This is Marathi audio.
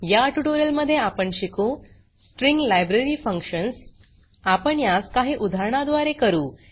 या ट्यूटोरियल मध्ये आपण शिकू स्ट्रिंग लायब्ररी फंक्शन्स आपण यास काही उदाहरणा द्वारे करू